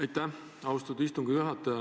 Aitäh, austatud istungi juhataja!